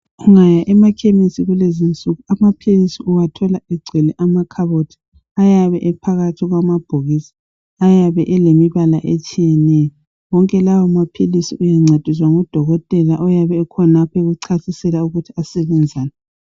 Ungaya emakhemisi kulezi nsuku amaphilisi uwathola egcwele amakhabothi ayabe ephakathi kwamabhokisi ayabe elemibala etshiyeneyo .Wonke lawo maphilisi uyancediswa ngudokotela oyabe khonapho ekuchasisela ukuthi asebenzani .